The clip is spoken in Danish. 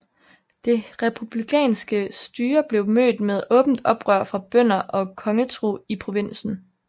Det republikanske styre blev mødt med åbent oprør fra bønder og kongetro i provinsen